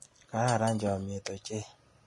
Kararan chomnyet ochei.